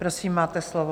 Prosím, máte slovo.